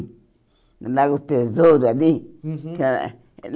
Lá no Tesouro ali? Uhum aquela